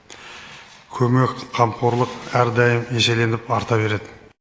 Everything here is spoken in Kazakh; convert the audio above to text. көмек қамқорлық әрдайым еселеніп арта береді